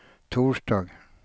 torsdag